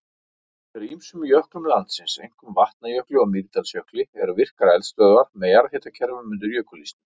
Undir ýmsum jöklum landsins, einkum Vatnajökli og Mýrdalsjökli, eru virkar eldstöðvar með jarðhitakerfum undir jökulísnum.